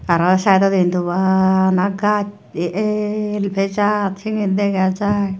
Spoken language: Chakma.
tara saidodi hintu bana gach he el eh jar siyan degajai.